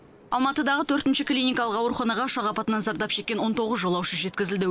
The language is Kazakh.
алматыдағы төртінші клиникалық ауруханаға ұшақ апатынан зардап шеккен он тоғыз жолаушы жеткізілді